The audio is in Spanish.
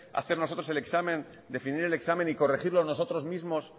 hacer nosotros el examen definir el examen y corregirlo nosotros mismos